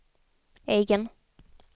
egen